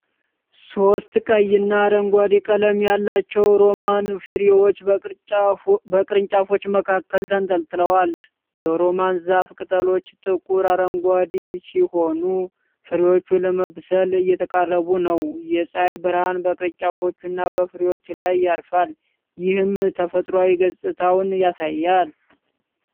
ሶስት ቀይና አረንጓዴ ቀለም ያላቸው ሮማን ፍሬዎች በቅርንጫፎች መካከል ተንጠልጥለዋል። የሮማን ዛፉ ቅጠሎች ጥቁር አረንጓዴ ሲሆኑ ፍሬዎቹ ለመብሰል እየተቃረቡ ነው። የፀሐይ ብርሃን በቅርንጫፎቹና በፍሬዎቹ ላይ ያርፋል, ይህም ተፈጥሯዊ ገጽታውን ያሳያል።